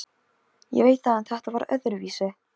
Ég veit það en þetta var öðruvísi.